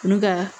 Olu ka